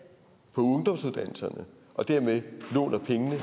ungdomsuddannelserne og dermed låner pengene